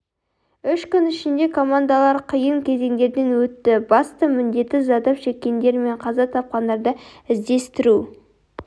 үш күн ішінде командалар қиын кезеңдерден өтті басты міндеті зардап шеккендер мен қаза тапқандарды іздестіру